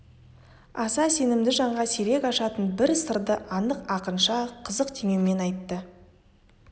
аса сенімді жанға сирек ашатын бір сырды анық ақынша қызық теңеумен айтты